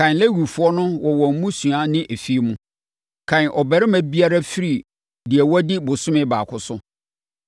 “Kan Lewifoɔ no wɔ wɔn mmusua ne afie mu. Kan ɔbarima biara firi deɛ wadi bosome baako so.”